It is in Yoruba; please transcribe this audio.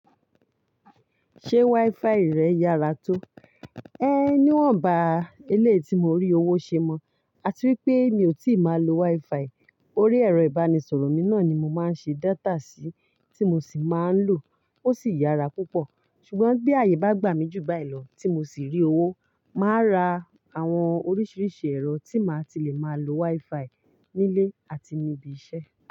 Ṣé WiFi rẹ yára tó? É níwọ̀n ba ilé tí mo rí owó ṣe mọ, àti wípé mi ò tíì má lo WiFi. Orí ẹ̀rọ ìbánisọ̀rọ̀ mi náà ni mo máa ń ṣe data sí tí mo sì máa ń lò, ó sì yára púpọ̀. Ṣùgbọ́n bí àyè bá gbà mí jù báyìí lọ tí mo sì rí owó, màá ra àwọn oríṣiríṣi ẹ̀rọ tí màá ti le máa lo WiFi ní ilé àti níbi iṣẹ́.